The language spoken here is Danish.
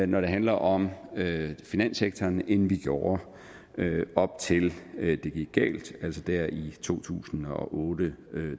når det handler om finanssektoren end vi gjorde op til at det gik galt altså der i to tusind og otte